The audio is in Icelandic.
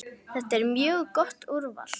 Þetta er mjög gott úrval.